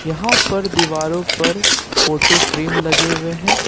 यहां पर दीवारों पर फोटो फ्रेम लगे हुए हैं ।